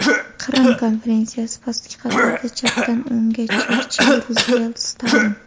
Qrim konferensiyasi, pastki qatorda chapdan o‘ngga: Cherchill, Ruzvelt, Stalin.